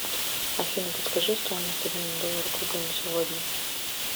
афина подскажи стоимость обмена доллара к рублю на сегодня